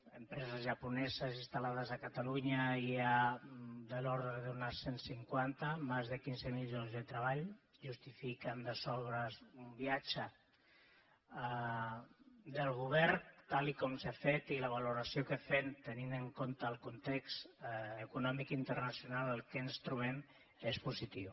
d’empreses japoneses instal·lades a catalunya n’hi ha de l’ordre d’unes cent cinquanta més de quinze mil llocs de treball justifiquen de sobres un viatge del govern tal com s’ha fet i la valoració que en fem tenint en compte el context econòmic internacional en què ens trobem és positiu